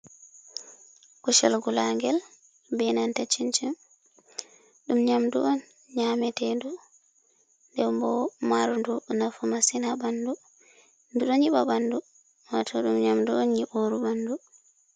"Kusel" ngula ngel ɓe nanta chinchin ɗum nyamdu on nyametedu nden bo marɗum nafu masin ha ɓandu ɗo nyiba ɓandu wato ɗum nyamdu on nyiburu ɓandu.